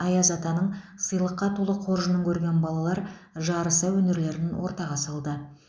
аяз атаның сыйлыққа толы қоржынын көрген балалар жарыса өнерлерін ортаға салды